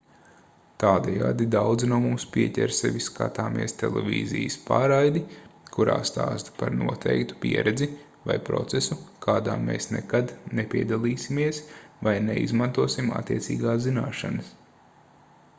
tādējādi daudzi no mums pieķer sevi skatāmies televīzijas pārraidi kurā stāsta par noteiktu pieredzi vai procesu kādā mēs nekad nepiedalīsimies vai neizmantosim attiecīgās zināšanas